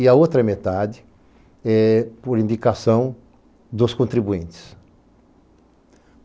e a outra metade é por indicação dos contribuintes.